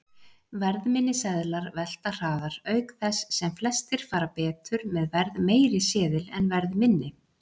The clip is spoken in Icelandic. Verðminni seðlar velta hraðar, auk þess sem flestir fara betur með verðmeiri seðil en verðminni.